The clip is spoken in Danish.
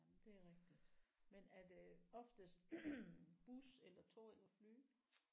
Det er rigtigt men er det oftest bus eller tog eller fly